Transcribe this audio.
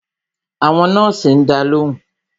Àwọn nọ́ọ̀sì ń dá lóhùn